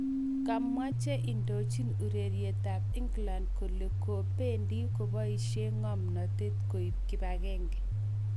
Kamwa che indochin urerietab England kole bendi koboisie 'ng'omnatet' koib kibagenge